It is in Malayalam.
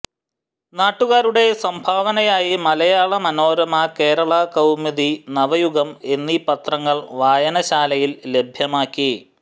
നാട്ടുകാരുടെ സംഭാവനയായി മലയാള മനോരമ കേരള കൌമുദി നവയുഗം എന്നീ പത്രങ്ങൾ വായനശാലയിൽ ലഭ്യമാക്കി